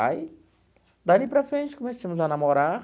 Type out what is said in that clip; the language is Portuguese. Aí, dali para frente, começamos a namorar.